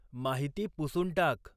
माहिती पुसून टाक